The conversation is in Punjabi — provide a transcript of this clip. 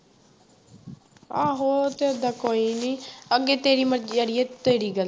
ਆਹੋ ਤੇ ਏਦਾਂ ਕੋਈ ਵੀ ਅੱਗੇ ਤੇਰੀ ਮਰਜ਼ੀ ਆੜੀਏ ਤੇਰੀ ਗੱਲ